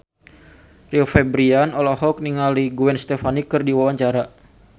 Rio Febrian olohok ningali Gwen Stefani keur diwawancara